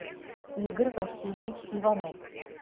игорь васильевич иванов